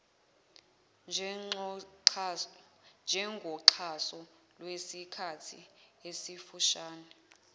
njengoxhaso lwesikhathi esifushane